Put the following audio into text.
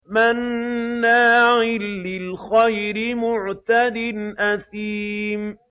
مَّنَّاعٍ لِّلْخَيْرِ مُعْتَدٍ أَثِيمٍ